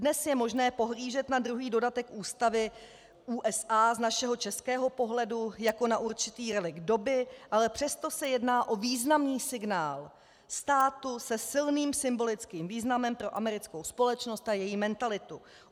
Dnes je možné pohlížet na druhý dodatek ústavy USA z našeho českého pohledu jako na určitý relikt doby, ale přesto se jedná o významný signál státu se silným symbolickým významem pro americkou společnost a její mentalitu.